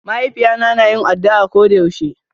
Ma'haifiyata na yin addu'a koda yaushe.